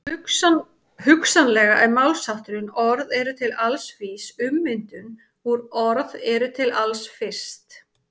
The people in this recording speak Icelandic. Hugsanlega er málshátturinn orð eru til alls vís ummyndum úr orð eru til alls fyrst.